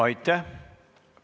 Aitäh!